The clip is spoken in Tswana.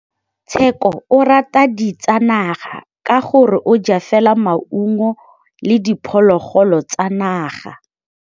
Tshekô o rata ditsanaga ka gore o ja fela maungo le diphologolo tsa naga.